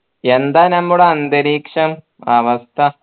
എന്താ നമ്മുടെ അന്തരീക്ഷം അവസ്ഥ